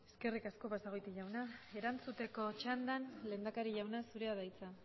eskerrik asko basagoiti jauna erantzuteko txandan lehendakari jauna zurea da hitza